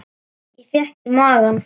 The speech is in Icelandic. Ég fékk í magann.